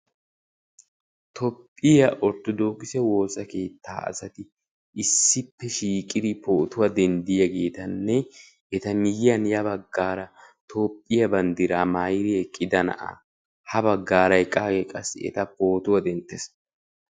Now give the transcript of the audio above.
Toophphiyaa orttoodokise woossaa keettaa asati issippe shiiqidi potuwaa denddiyaagetanne eta miyiyaan ya baggaara toophphiyaa banddiraa maayidi eqqida na'aa. ha baggaara eqqagee qassi eta pootuwaa denttees.